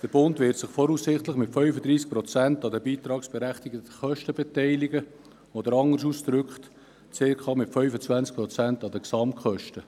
Der Bund wird sich voraussichtlich mit 35 Prozent an den beitragsberechtigten Kosten beteiligen, oder anders ausgedrückt, mit rund 25 Prozent an den Gesamtkosten.